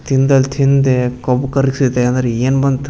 ತಿಂದಲ್ ತಿಂದೆ ಕೊಬ್ಬ್ ಕರ್ಗಸತೆ ಅಂದ್ರೇನ್ ಬಂತ್.